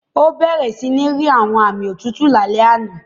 Ó bẹ̀rẹ̀ sí ní rí àwọn aami òtútù lálẹ́ àná.